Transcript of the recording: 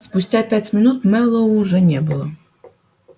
спустя пять минут мэллоу уже не было